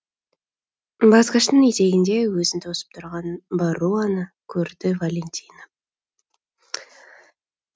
басқыштың етегінде өзін тосып тұрған барруаны көрді валентина